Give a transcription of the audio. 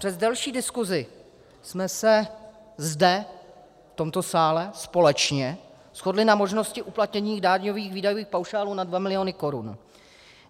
Přes delší diskusi jsme se zde, v tomto sále, společně shodli na možnosti uplatnění daňových výdajových paušálů na 2 miliony korun.